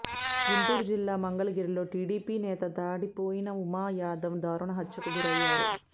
గుంటూరు జిల్లా మంగళగిరిలో టీడీపీ నేత తాడిబోయిన ఉమా యాదవ్ దారుణ హత్యకు గురయ్యారు